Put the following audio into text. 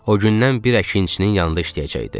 O gündən bir əkinçinin yanında işləyəcəkdi.